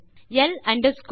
பிரிவு வரம்புகளுக்கு